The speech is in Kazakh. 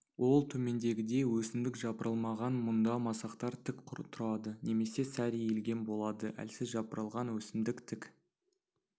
ол төмендегідей өсімдік жапырылмаған мұнда масақтар тік тұрады немесе сәл иілген болады әлсіз жапырылған өсімдік тік